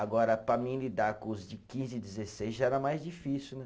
Agora, para mim lidar com os de quinze e dezesseis já era mais difícil, né?